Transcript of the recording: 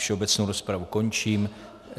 Všeobecnou rozpravu končím.